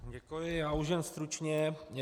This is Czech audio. Děkuji, já už jen stručně.